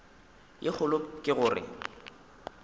ye kgolo ke go re